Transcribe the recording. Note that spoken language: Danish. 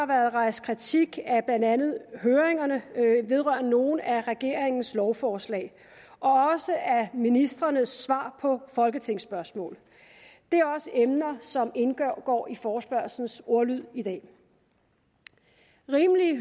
været rejst kritik af blandt andet høringerne vedrørende nogle af regeringens lovforslag og også af ministrenes svar på folketingsspørgsmål det er også emner som indgår i forespørgslens ordlyd i dag rimelige